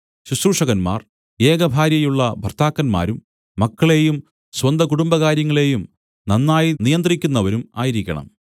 ശുശ്രൂഷകന്മാർ ഏകഭാര്യയുള്ള ഭർത്താക്കന്മാരും മക്കളെയും സ്വന്തകുടുംബകാര്യങ്ങളെയും നന്നായി നിയന്ത്രിക്കുന്നവരും ആയിരിക്കണം